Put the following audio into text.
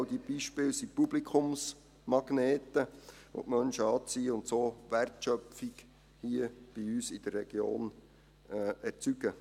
Alle diese Beispiele sind Publikumsmagnete, welche die Menschen anziehen und so Wertschöpfung hier bei uns in der Region erzeugen.